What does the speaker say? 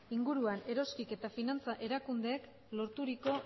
inguruan eroskik eta finantza erakudeek lorturiko